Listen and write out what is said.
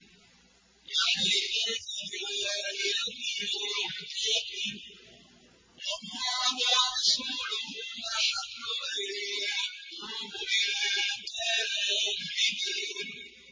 يَحْلِفُونَ بِاللَّهِ لَكُمْ لِيُرْضُوكُمْ وَاللَّهُ وَرَسُولُهُ أَحَقُّ أَن يُرْضُوهُ إِن كَانُوا مُؤْمِنِينَ